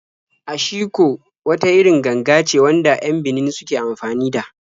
Ashiko wata irin ganga ce wanda 'yan Benin suke anfani da.